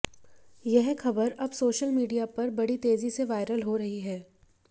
यह खबर अब सोशल मीडिया पर बड़ी तेजी से वायरल हो रही है